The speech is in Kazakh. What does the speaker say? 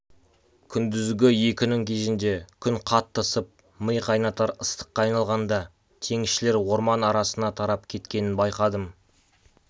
күндізгі екінің кезінде күн қатты ысып ми қайнатар ыстыққа айналғанда теңізшілер орман арасына тарап кеткенін байқадым